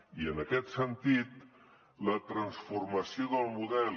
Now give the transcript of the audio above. i en aquest sentit la transformació del model